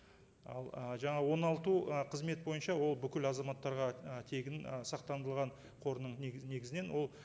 ал ы жаңа оңалту ы қызмет бойынша ол бүкіл азаматтарға і тегін і сақтандырылған қорының негіз негізінен ол